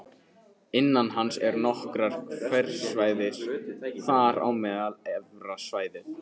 Innan hans eru nokkur hverasvæði, þar á meðal Efra svæðið